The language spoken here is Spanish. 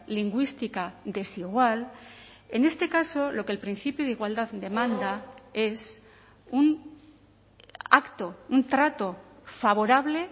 lingüística desigual en este caso lo que el principio de igualdad demanda es un acto un trato favorable